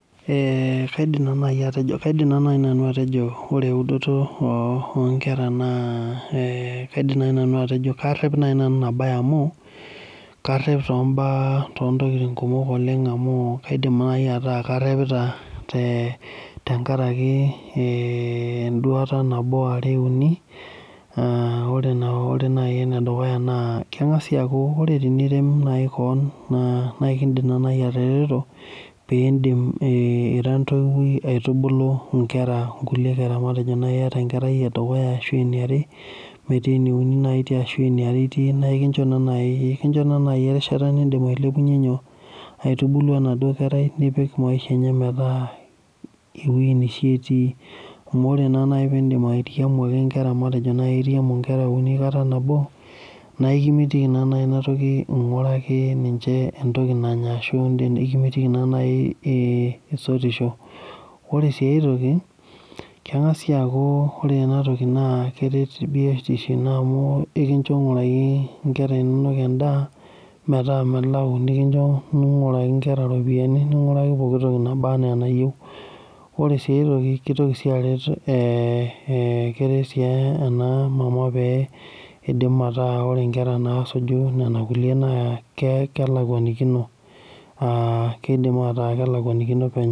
Eeeh kaidim atejo ore eudoto oonkera naa karep naaji nanu inabaye amu karep toontokitin kumok amu kaidim naaji ataa karepita tenkareki nabo are uni kaidim naaji aajo ore teniret kewon naa kaidim naaji atareto peeidim ira entoiwuoi aitubulu inkre onkulie kera matejo iyata inkera are ashua uni naa ekincho naaji erishata nindim ailepunyie enaduo kerai metaa maisha neishia etii amu ore naaji peeku iramu inkera uni kata nabo naa ekimitiki ing'uraki ninche entoki nanya ashua ekimitiki isotisho ore siinae toki keng'as sii aaku ore ena toki keret biotisho ino amu ekinjo ing'uraki inkera inonok endaa metaa melau nikicho ing'uraki inkera iropiyiani ning'uaaki pookitoki nabaanaa enayieu ore sii aetoki keitoki sii arer ee keret sii ena mama pee idim ataa ore inkera naasuju nena kulie naa kelakwanikino aa keidim aaataa kelakwanikino penyo